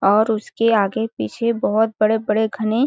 और उसके आगे पीछे बहुत बड़े-बड़े घने --